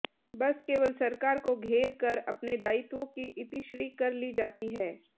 बस केवल सरकार को घेर कर अपने दायित्वों की इतिश्री कर ली जाती है